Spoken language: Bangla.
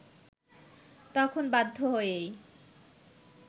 তখন বাধ্য হয়েই